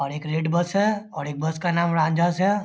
और एक red bus है और एक बस का नाम रान्ज्हंस है ।